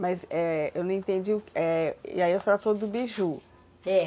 Mas, é, eu não entendi, é ... E aí a senhora falou do beiju. É.